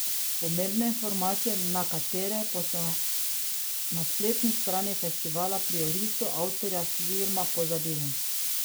Pomembne informacije, na katere pa so na spletni strani festivala pri orisu avtorja filma pozabili.